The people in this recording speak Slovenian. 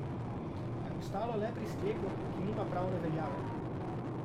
A je ostalo le pri sklepu, ki nima pravne veljave.